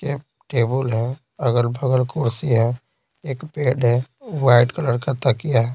ये टेबल है अगल बगल कुर्सी है एक पेड है वाइट कलर का तकिया है।